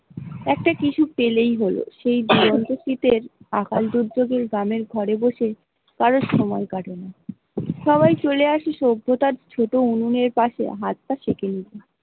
একটা কিছু পেলেই হোল সেই আকাল দুর্যোগের দামে ঘরে বসে কারর সময় কাটানো সবাই চলে আসি সভ্যতার ছোট উনুনের পাসে হাত তা সেঁকে নি ।